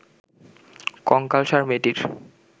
কঙ্কালসার মেয়েটির